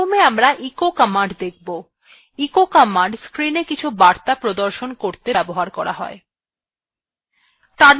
প্রথমে আমরা echo command দেখব এই command screenএ কিছু বার্তা প্রদর্শন করতে ব্যবহার করা হয় terminal গেলাম